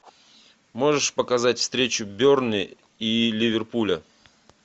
можешь показать встречу бернли и ливерпуля